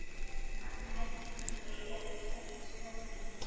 Hann heldur kannski að ég hafi stælt sögurnar hennar.